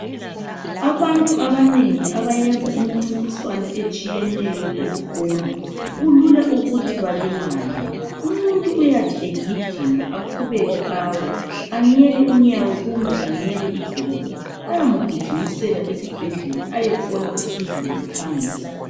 Abantu abanengi abayenza imincintiswano etshiyeneyo ezikolo kulula ukuthi balimale. Umuntu uyathi egijima akhubeke awe anyele unyawo kumbe anyele idolo, bayamugijimisela esibhedlela athole usizo ngokuphangisa.